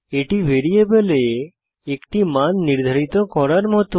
এটি ভ্যারিয়েবলে একটি মান নির্ধারিত করার মত